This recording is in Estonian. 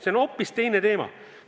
See on hoopis teine teema!